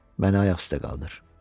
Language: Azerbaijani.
Məni ayaq üstə qaldır.